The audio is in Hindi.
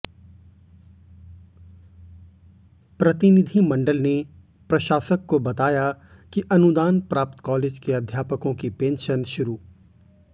प्रतिनिधिमंडल ने प्रशासक को बताया कि अनुदान प्राप्त कॉलेज के अध्यापकों की पेंशन शुरू